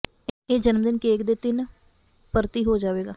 ਇਹ ਜਨਮ ਦਿਨ ਕੇਕ ਦੇ ਤਿੰਨ ਪਰਤੀ ਹੋ ਜਾਵੇਗਾ